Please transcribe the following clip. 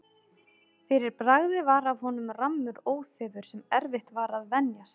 Fyrir bragðið var af honum rammur óþefur, sem erfitt var að venjast.